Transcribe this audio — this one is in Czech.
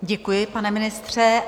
Děkuji, pane ministře.